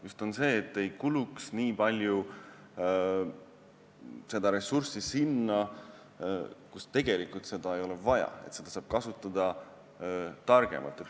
Tähtis on, et ei kuluks nii palju ressurssi sinna, kuhu seda tegelikult vaja ei ole, sest seda saab kasutada targemalt.